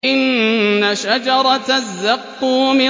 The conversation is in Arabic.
إِنَّ شَجَرَتَ الزَّقُّومِ